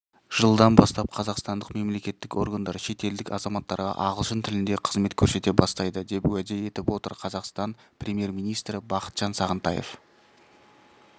жылдан бастап қазақстандық мемлекеттік органдар шетелдік азаматтарға ағылшын тілінде қызмет көрсете бастайды деп уәде етіп отыр қазақстан премьер-министрі бақытжан сағынтаев